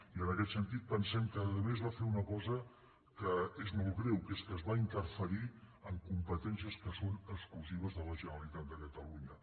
i en aquest sentit pensem que a més va fer una cosa que és molt greu que és que es va interferir en com·petències que són exclusives de la generalitat de ca·talunya